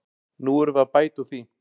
Nú erum við að bæta úr því.